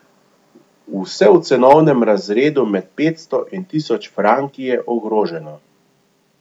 Vse v cenovnem razredu med petsto in tisoč franki je ogroženo.